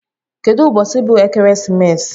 Kedu ubosi bu ekeresimesi?